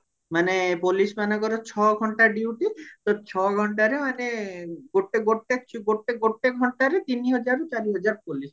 ମାନେ police ମାନଙ୍କର ଛ ଘଣ୍ଟା duty ତ ଛ ଘଣ୍ଟାରେ ମାନେ ଗୋଟେ ଗୋଟେ ଗୋଟେ ଗୋଟେ ଘଣ୍ଟାରେ ମାନେ ତିନି ହଜାରରୁ ଚାରି ହଜାର police